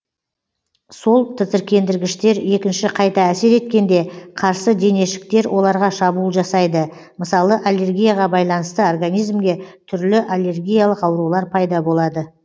сол тітіркендіргіштер екінші қайта әсер еткенде қарсы денешіктер оларға шабуыл жасайды мысалы аллергияға байланысты организмге түрлі аллергиялық аурулар пайда болады